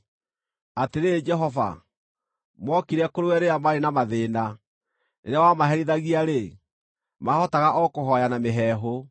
Atĩrĩrĩ Jehova, mookire kũrĩ we rĩrĩa maarĩ na mathĩĩna; rĩrĩa wamaherithagia-rĩ, maahotaga o kũhooya na mĩheehũ.